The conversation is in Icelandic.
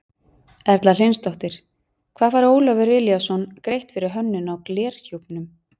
Erla Hlynsdóttir: Hvað fær Ólafur Elíasson greitt fyrir hönnun á glerhjúpnum?